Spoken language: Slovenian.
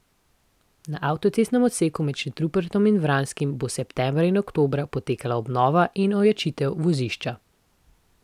Na avtocestnem odseku med Šentrupertom in Vranskim bo septembra in oktobra potekala obnova in ojačitev vozišča.